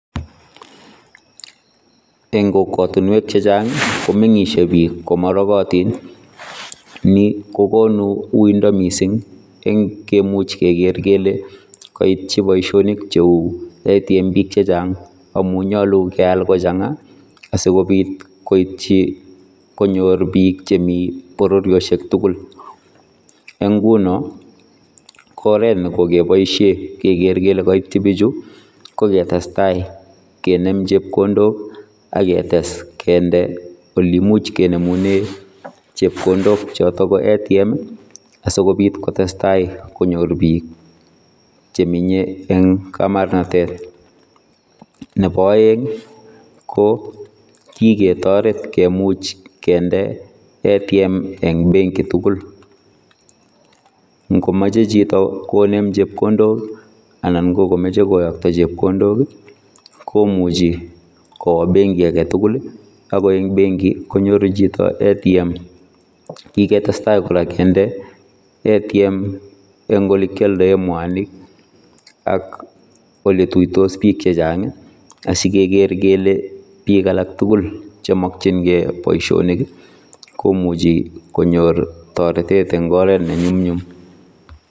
Eng kokwatiinweek chechaang ii komengisie biik komanagatiin ii ,ni kokonuu yundaa missing ii en kemuuch keger kele kiaityi boisionik che uu oot en biik chechaang amuu nyaluu keyaal kochangaa asikobiit koityi konyoor biik che Mii bororiosheek tugul eng ngunoo ko oret nekokebosie keger kole kaityii bichuu ko tesetai kinem chepkondook aketes kindee ole imuuch kinemuneen chepkondook chotoon ko Automatic vending machine ii asikobiit kotesetai konyoor biik chemenyei en kamarnagnetet ,nebo aeng ko kikotareet komuuch kindee automatic vending machine eng benki tuguul ingo machei chitoo konem chepkondook anan ko komachei koyaktaa chepkondook ii komuchii kowaa benkiit age tugul ii ako eng benki koinyoruu chitoo automatic vending machine kiketestai kora kindee automatic vending machine en ole kiyaldaen mwanig ak ole tuitos biik chechaang ii asigeger kele biik alaak tugul chemakyingei boisionik ii komuchii konyoor taretet en oret ne nyumnyum.